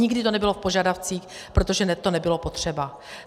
Nikdy to nebylo v požadavcích, protože to nebylo potřeba.